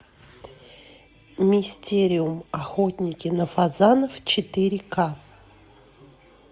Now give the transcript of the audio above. мистериум охотники на фазанов четыре ка